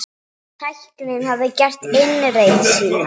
Tæknin hafði gert innreið sína.